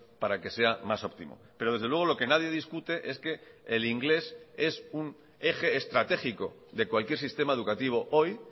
para que sea más óptimo pero desde luego lo que nadie discute es que el inglés es un eje estratégico de cualquier sistema educativo hoy